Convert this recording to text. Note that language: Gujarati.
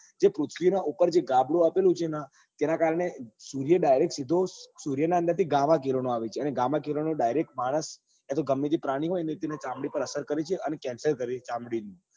જે પૃથ્વી નાં ઉપર જે ગાબડું જે આપેલું છે ને તેના કારણે સૂર્ય સીધો direct સીધો ઉર્ય ના અંદર થી ગામાં કિરણો આવે છે અને ગામા કિરણો direct માણસ કાતો ગમે તે પરની હોય ત્તેની ચામડી પર અસર કરે છે અને cencer કરે છે ચામડી નું